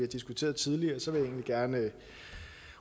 diskuteret tidligere så vil jeg egentlig gerne